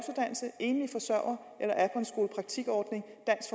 enlige forsørgere eller er på en skolepraktikordning